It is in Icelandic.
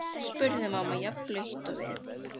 spurði mamman, jafn blaut og við.